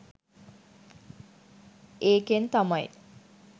ඒකෙන් තමයි